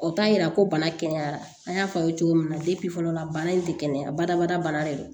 O t'a yira ko bana kɛnɛyara an y'a fɔ aw ye cogo min na fɔlɔ la bana in tɛ kɛnɛya badabada bana de don